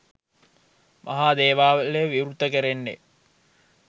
මහා දේවාලය විවෘත කෙරෙන්නේ